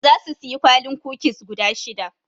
Zasu siyi kwalin kukis guda shida.